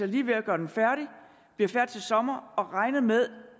lige ved at gøre den færdig bliver færdig til sommer og regner med